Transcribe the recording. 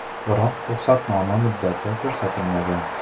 Biroq ruxsatnoma muddati ko‘rsatilmagan.